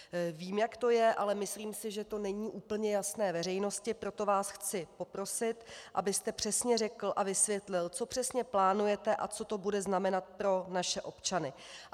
Vím, jak to je, ale myslím si, že to není úplně jasné veřejnosti, proto vás chci poprosit, abyste přesně řekl a vysvětlil, co přesně plánujete a co to bude znamenat pro naše občany.